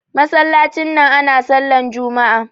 masallacin nan ana sallah Juma'a